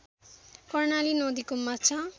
कर्णाली नदीको माछा